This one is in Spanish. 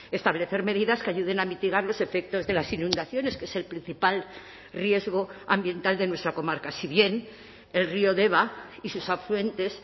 establecer medidas que ayuden a mitigar los efectos de las inundaciones que es el principal riesgo ambiental de nuestra comarca si bien el río deba y sus afluentes